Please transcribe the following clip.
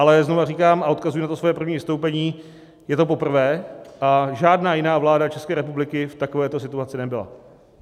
Ale znova říkám, a odkazuji na to svoje první vystoupení: Je to poprvé a žádná jiná vláda České republiky v takovéto situaci nebyla.